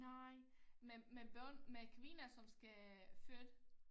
Nej med med børn med kvinder som skal føde